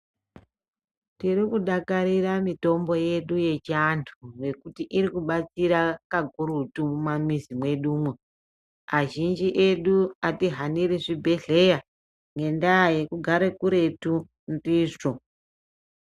Tiri kudakarira mitombo yedu yechiantu ngekuti iri kubatsira kakurutu mumamizi mwedu umwo, azhinji edu atihaniri zvibhedhlera ngendaa yekugare kuretu ndizvo.